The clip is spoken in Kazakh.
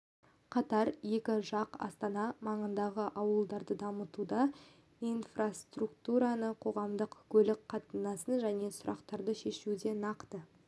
қатар екі жақ астана маңындағы ауылдарды дамытуда инфраструктураны қоғамдық көлік қатынасын және сұрақтарды шешуде нақты